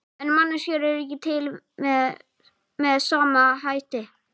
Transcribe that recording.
En manneskjur eru ekki til með sama hætti.